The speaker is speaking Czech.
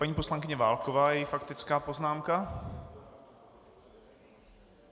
Paní poslankyně Válková - její faktická poznámka.